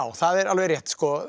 það er alveg rétt